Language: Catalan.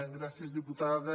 gràcies diputada